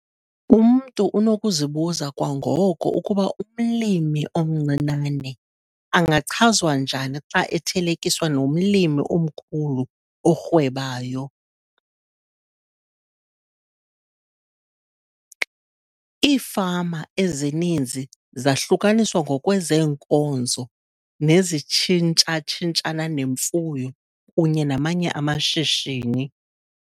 Umntu unokuzibuza kwangoko ukuba umlimi omncinane angachazwa njani xa ethelekiswa nomlimi omkhulu orhwebayo. Iifama ezininzi zahlukaniswa ngokwezeenkozo nezitshintshana nemfuyo kunye namanye amashishini.